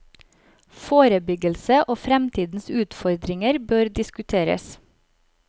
Forebyggelse og fremtidens utfordringer bør diskuteres.